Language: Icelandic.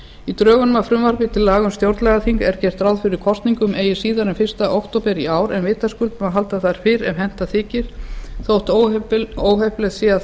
í drögunum að frumvarpi til laga um stjórnlagaþing er gert ráð fyrir kosningum eigi síðar en fyrsta október í ár en vitaskuld má halda þær fyrr ef henta þykir þótt óheppilegt sé að